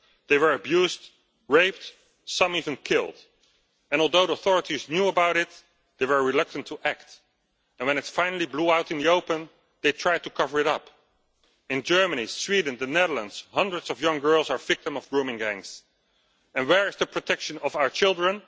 They were abused, raped, some even killed, and although the authorities knew about it, they were reluctant to act and when it finally blew out in the open, they tried to cover it up. In Germany, Sweden, the Netherlands, hundreds of young girls are victim of grooming gangs and where is the protection of our children?